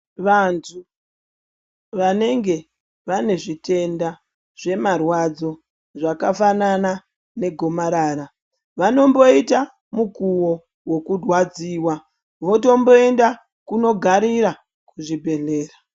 Vantu vanenge vanezvitenda zvemarwadzo zvakafanana negomarara, vanomboita mukuwo wokurwadziwa, votomboinda kunogarira kuzvibhedhlela.